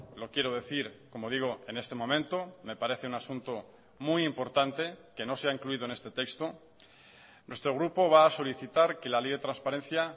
lo quiero decir como digo en este momento me parece un asunto muy importante que no se ha incluido en este texto nuestro grupo va a solicitar que la ley de transparencia